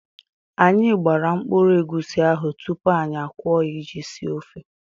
Anyị gbara mkpụrụ egusi ahụ tupu anyị akwọọ ya iji esi ofe.